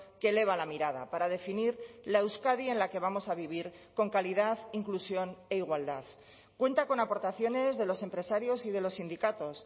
que eleva la mirada para definir la euskadi en la que vamos a vivir con calidad inclusión e igualdad cuenta con aportaciones de los empresarios y de los sindicatos